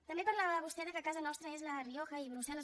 també parlava vostè que casa nostra és la rioja i brussel·les